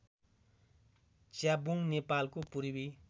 च्याब्रुङ नेपालको पूर्वी